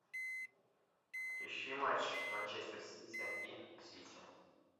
ищи матч манчестер сити и сити